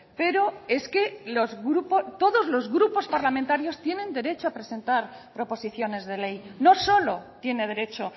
pero es que todos los grupos parlamentarios tienen derecho a presentar proposiciones de ley no solo tiene derecho